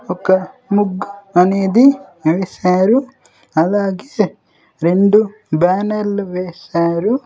ఒక ముగ్గు అనేది వేశారు అలాగే రెండు బ్యానర్లు వేశారు.